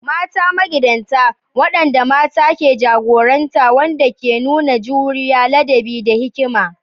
Mata magidanta: waɗanda mata ke jagoranta waɗanda ke nuna juriya, ladabi, da hikima.